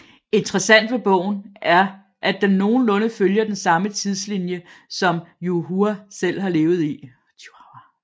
Interessant ved bogen er at den nogenlunde følger den samme tidslinie som Yu Hua selv har levet i